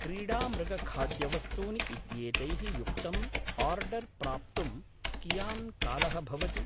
क्रीडामृगखाद्यवस्तूनि इत्येतैः युक्तम् आर्डर् प्राप्तुं कियान् कालः भवति?